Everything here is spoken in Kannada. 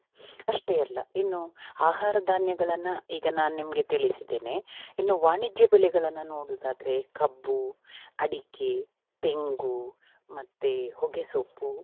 ಅಷ್ಟೇ ಅಲ್ಲ ಇನ್ನು ಆಹಾರ ಧಾನ್ಯಗಳನ್ನ ಈಗ ನಾನ್ ನಿಮಗೆ ತಿಳಿಸಿದ್ದೇನೆ. ಇನ್ನು ವಾಣಿಜ್ಯ ಬೆಳೆಗಳನ್ನ ನೋಡುದಾದ್ರೆ ಕಬ್ಬು, ಅಡಿಕೆ, ತೆಂಗು ಮತ್ತೆ ಹೊಗೆಸೊಪ್ಪು